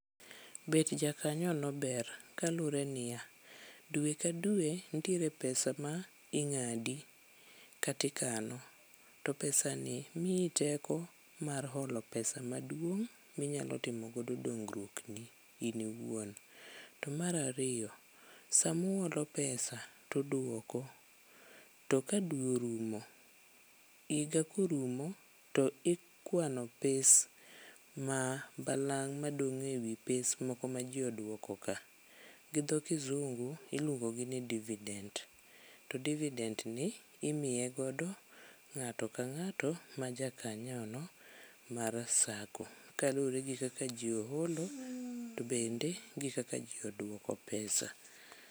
Bet jakanyo no ber, kalure niya. Dwe ka dwe ntiere pesa ma ing'adi katikano. To pesa ni miyi teko mar holo pesa maduong' minyalo timo godo dongruokni in iwuon. To mar ariyo, samuolo pesa tudwoko to ka dwe orumo higa korumo to ikwano pes ma balang' madong' ewi pes moko ma ji odwoko ka. Gidho kizungu iluongo gi ni divident, to divident ni imiye godo ng'ato ka ng'ato ma ja kanyono mar sako. Kaluwore gi kaka ji oholo to bende kaka ji odwoko vpesa.